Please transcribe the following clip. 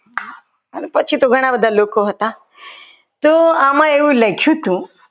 અને પછી તો ઘણા બધા લોકો હતા તો આમાં એવું લખ્યું હતું.